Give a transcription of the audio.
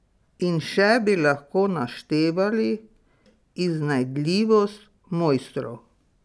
In še bi lahko naštevali iznajdljivost mojstrov.